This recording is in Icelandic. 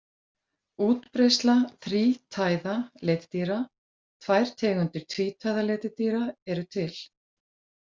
Útbreiðsla þrítæða letidýra Tvær tegundir tvítæða letidýra eru til.